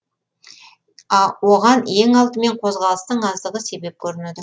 оған ең алдымен қозғалыстың аздығы себеп көрінеді